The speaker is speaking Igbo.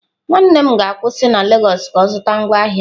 Nwanne m ga-akwụsị na lagos ka ọ zụta ngwaahịa.